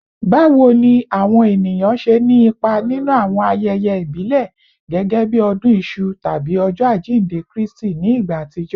Bawo ni awọn eniyan ṣe ni ipa ninu awọn ayẹyẹ ibile gẹgẹbi odun isu tabi Ọjọ ajinde Kristi ni igba atijọ?